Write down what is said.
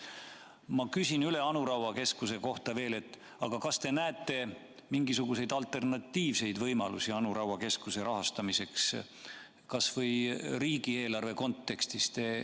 Ma küsin veel üle Anu Raua keskuse kohta: kas te näete mingisuguseid alternatiivseid võimalusi Anu Raua keskuse rahastamiseks kas või riigieelarve kontekstis?